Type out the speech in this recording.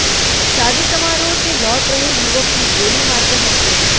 शादी समारोह से लौट रहे युवक की गोली मारकर हत्या